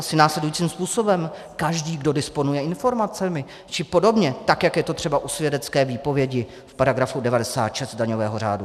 Asi následujícím způsobem: Každý, kdo disponuje informacemi, či podobně, tak jak je to třeba u svědecké výpovědi v paragrafu 96 daňového řádu.